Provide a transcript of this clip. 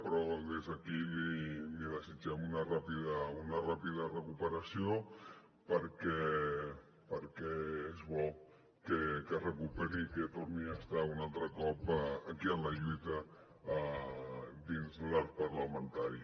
però des d’aquí li desitgem una ràpida recuperació perquè és bo que es recuperi i que torni a estar un altre cop aquí en la lluita dins l’arc parlamentari